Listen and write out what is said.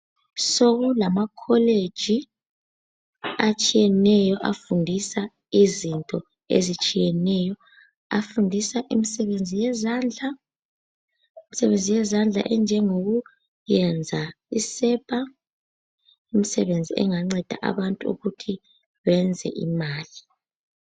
Sokulamakholeji atshiyeneyo afundisa izinto ezitshiyeneyo. Afundisa imisebenzi yezandla enjengokuyenza amasepa. Imisebenzi enganceda abantu ukuthi bayenze imali